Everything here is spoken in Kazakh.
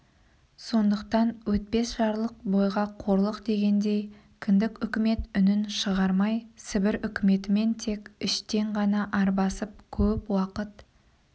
сондықтан өтпес жарлық бойға қорлық дегендей кіндік үкімет үнін шығармай сібір үкіметімен тек іштен ғана арбасып көп уақыт